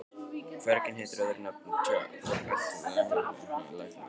Fergin heitir öðru nafni tjarnelfting og er eins konar lækningajurt.